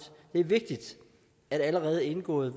det er vigtigt at allerede indgåede